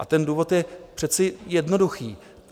A ten důvod je přece jednoduchý.